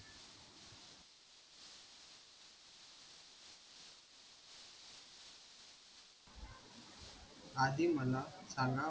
आधी मला सांगा,